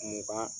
Mugan